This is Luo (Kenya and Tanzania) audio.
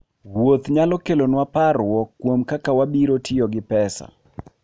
Wuoth nyalo kelonwa parruok kuom kaka wabiro tiyo gi pesa.